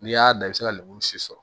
N'i y'a da i bɛ se ka lemuru si sɔrɔ